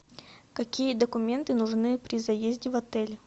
какие документы нужны при заезде в отель